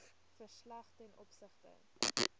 verslag ten opsigte